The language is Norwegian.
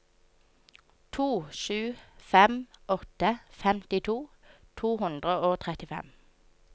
to sju fem åtte femtito to hundre og trettifem